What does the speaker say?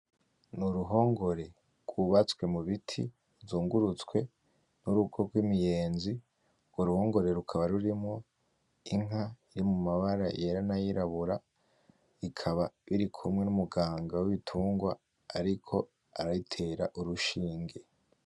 N'uruhongore rwubatswe mu biti ruzungurutswe n’urugo rw’imiyenzi urwo ruhongore rukaba rurimwo Inka yo mu mabara yera n’ayirabura ikaba irikumwe n’umuganga w’ibitungwa ariko arayitera urushinge.